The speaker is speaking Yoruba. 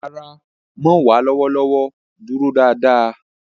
Rara, Mo wa lọwọlọwọ duro daadaa.